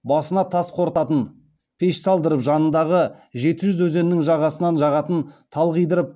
басына тас қорытатын пеш салдырып жанындағы жеті қыз өзенінің жағасынан жағатын тал қидырып